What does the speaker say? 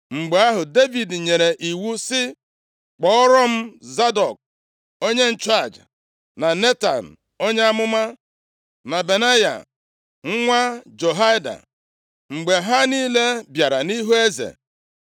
Mgbe ahụ, Devid nyere iwu sị, “Kpọọrọ m Zadọk onye nchụaja, na Netan onye amụma, na Benaya, nwa Jehoiada.” Mgbe ha niile bịara nʼihu eze,